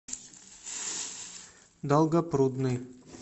долгопрудный